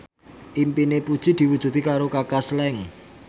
impine Puji diwujudke karo Kaka Slank